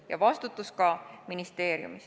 Ja vastutus on ka ministeeriumil.